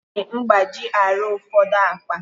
Eji mgbaji arụ ụfọdụ akpa